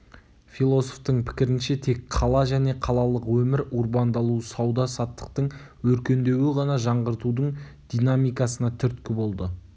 философтың пікрінше тек қала және қалалық өмір урбандалу сауда саттықтың өркендеуі ғана жаңғыртудың динамикасына түрткі болды